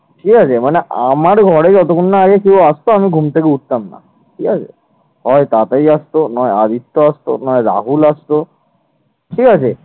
হয় পাপাই আসতো নয় আদিত্য আসতো না হয় রাহুল আসতো, ঠিক আছে।